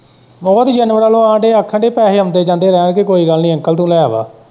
ਹੋਰ ਜਾਨਵਰਾਂ ਵੱਲੋਂ ਆਉਣ ਦੇ ਆਖਣ ਦੇ ਪੈਸੇ ਆਉਂਦੇ-ਜਾਉਂਦੇ ਰਹਿਣਗੇ ਕੋਈ ਗੱਲ ਨੀ ਅੰਕਲ ਤੋਂ ਲਏ ਵਾਂ।